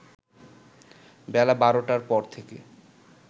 বেলা ১২ টার পর থেকে